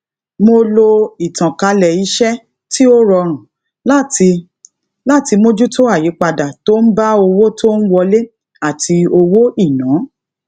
mo lo ìtànkálẹ iṣẹ tí ó rọrùn láti láti mójútó àyípadà tó ń bá owó tó ń wọlé àti owó ìná